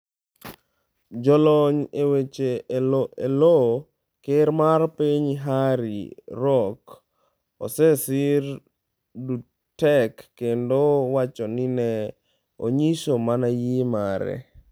Jalony e wach e lo ker mar piny Harry Roque osesir Duterte kendo wacho ni ne onyiso mana yie mare.